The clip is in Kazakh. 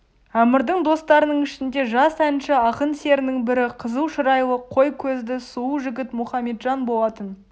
әмірдің достарының ішінде жас әнші ақын серінің бірі қызыл шырайлы қой көзді сұлу жігіт мұхаметжан болатын